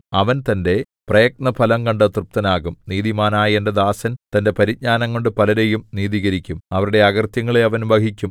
അവൻ തന്റെ പ്രയത്നഫലം കണ്ടു തൃപ്തനാകും നീതിമാനായ എന്റെ ദാസൻ തന്റെ പരിജ്ഞാനംകൊണ്ടു പലരെയും നീതീകരിക്കും അവരുടെ അകൃത്യങ്ങളെ അവൻ വഹിക്കും